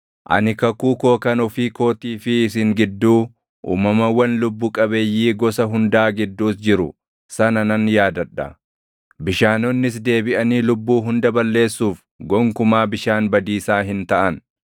ani kakuu koo kan ofii kootii fi isin gidduu, uumamawwan lubbu qabeeyyii gosa hundaa gidduus jiru sana nan yaadadha. Bishaanonnis deebiʼanii lubbuu hunda balleessuuf gonkumaa bishaan badiisaa hin taʼan.